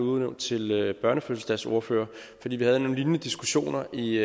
udnævnt til børnefødselsdagsordfører fordi vi havde nogle lignende diskussioner i